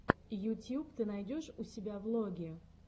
ютьюб ты найдешь у себя влоги